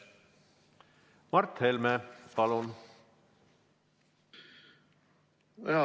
Mart Helme, palun!